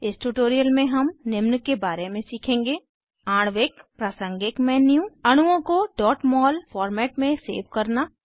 इस ट्यूटोरियल में हम निम्न के बारे में सीखेंगे आणविक प्रासंगिक मेन्यू अणुओं को mol फॉर्मेट में सेव करना